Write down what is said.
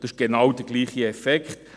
Hier entsteht genau derselbe Effekt.